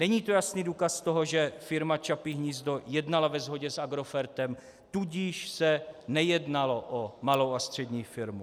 Není to jasný důkaz toho, že Firma Čapí hnízdo jednala ve shodě s Agrofertem, tudíž se nejednalo o malou a střední firmu?